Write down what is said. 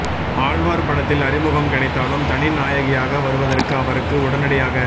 ஆழ்வார் படத்தில் அறிமுகம் கிடைத்தாலும் தனி நாயகியாக வருவதற்கு அவருக்கு உடனடியாக